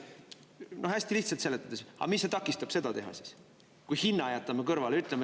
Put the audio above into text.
No hästi lihtsalt seletades, aga mis see takistab seda teha siis, kui hinna jätame kõrvale?